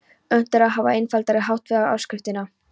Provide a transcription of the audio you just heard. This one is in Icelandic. Unnt er að hafa einfaldari hátt á við áskriftina.